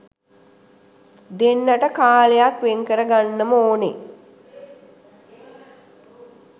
දෙන්නට කාලයක් වෙන්කරගන්නම ඕනේ